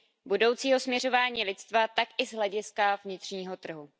budoucího směřování lidstva, tak i z hlediska vnitřního trhu.